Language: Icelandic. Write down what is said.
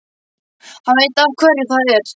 Hann veit af hverju það er.